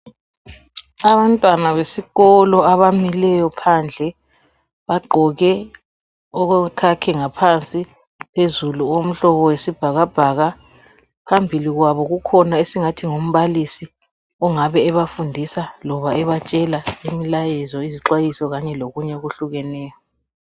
Abantwana besikolo abamileyo phandle bagqoke okuyikhakhi phansi , phezulu umhlobo wesibhakabhaka. Phambili kwabo kukhona esingathi ngumbalisi ongabe ebafundisa loba ebatshala imlayezo, izixwayiso lokunye okuhlukahlukeneyo.